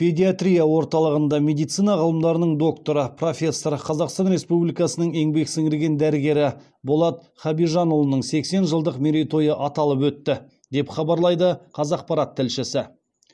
педиатрия орталығында медицина ғылымдарының докторы профессор қазақстан республикасының еңбек сіңірген дәрігері болат хабижанұлының сексен жылдық мерейтойы аталып өтті деп хабарлайды қазақпарат тілшісі